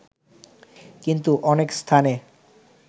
কিন্তু অনেক স্থানে